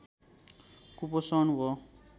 कुपोषण हो